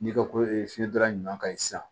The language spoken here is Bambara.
N'i ko ko fiɲɛdara ɲuman ka ɲi sisan